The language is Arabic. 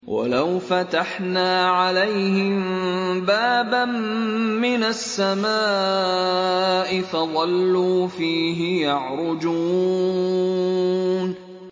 وَلَوْ فَتَحْنَا عَلَيْهِم بَابًا مِّنَ السَّمَاءِ فَظَلُّوا فِيهِ يَعْرُجُونَ